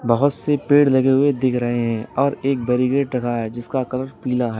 बहुत से पेड़ लगे हुए दिख रहे हैं और एक बेरीगेट रखा है जिसका कलर पीला है।